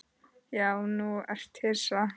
Já þú ert hissa.